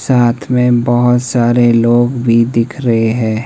साथ में बहुत सारे लोग भी दिख रहे है।